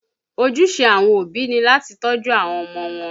Ojúṣe àwọn òbí ni láti tọ́jú àwọn ọmọ wọn